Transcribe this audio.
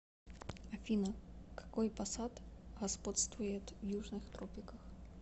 афина какой пассат господствует в южных тропиках